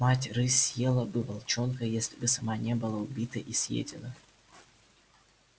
мать рысь съела бы волчонка если бы сама не была убита и съедена